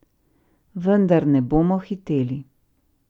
Vendar ne bomo hiteli.